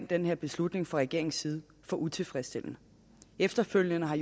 den her beslutning fra regeringens side for utilfredsstillende og efterfølgende har